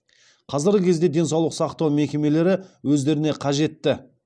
қазіргі кезде денсаулық сақтау мекемелері өздеріне қажетті